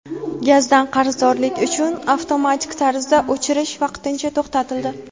Gazdan qarzdorlik uchun avtomatik tarzda o‘chirish vaqtincha to‘xtatildi.